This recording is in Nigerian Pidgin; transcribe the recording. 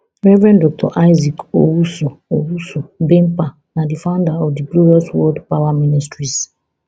rev dr isaac owusu owusu bempah na di founder of di glorious word power ministries